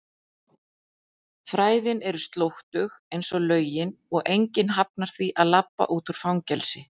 fræðin er slóttug einsog lögin og enginn hafnar því að labba út úr fangelsi.